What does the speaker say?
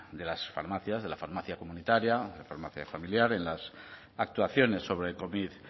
de las farmacias de la farmacia comunitaria la farmacia familiar en las actuaciones sobre covid